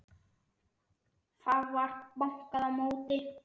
Það var bankað á móti.